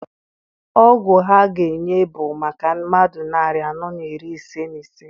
Ọgwụ ha ga-enye bụ maka mmadụ narị anọ na iri ise na ise.